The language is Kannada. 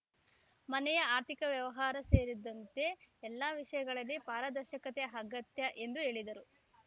ಮನೆಯ ಆರ್ಥಿಕ ವ್ಯವಹಾರ ಸೇರಿದಂತೆ ಎಲ್ಲ ವಿಷಯಗಳಲ್ಲಿ ಪಾರದರ್ಶಕತೆ ಅಗತ್ಯ ಎಂದು ಹೇಳಿದರು